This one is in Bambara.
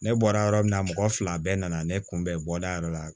Ne bɔra yɔrɔ min na mɔgɔ fila bɛɛ nana ne kunbɛn bɔda yɛrɛ la